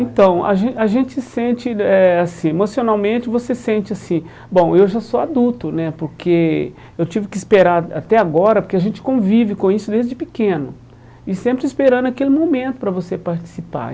Então, a gen a gente sente eh assim, emocionalmente você sente assim, bom, eu já sou adulto, né, porque eu tive que esperar a até agora, porque a gente convive com isso desde pequeno, e sempre esperando aquele momento para você participar.